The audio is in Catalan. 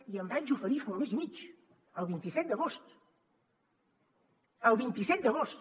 i em vaig oferir fa un mes i mig el vint set d’agost el vint set d’agost